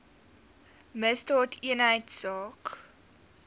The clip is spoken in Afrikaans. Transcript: misdaadeenheidsaak